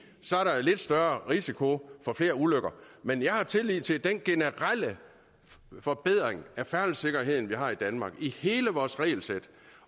lidt større risiko for flere ulykker men jeg har tillid til den generelle forbedring af færdselssikkerheden her i danmark hele vores regelsæt